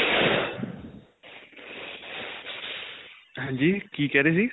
ਹਾਂਜੀ? ਕੀ ਕਿਹ ਰਹੇ ਸੀ?